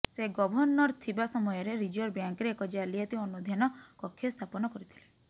ସେ ଗଭର୍ଣ୍ଣର ଥିବା ସମୟରେ ରିଜର୍ଭ ବ୍ୟାଙ୍କରେ ଏକ ଜାଲିଆତି ଅନୁଧ୍ୟାନ କକ୍ଷ ସ୍ଥାପନ କରିଥିଲେ